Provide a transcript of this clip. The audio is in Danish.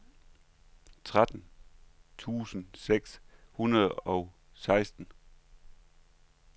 tretten tusind seks hundrede og seksten